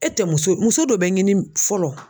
E tɛ muso muso dɔ bɛ ɲini fɔlɔ